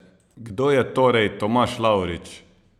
Kdo je torej Tomaž Lavrič?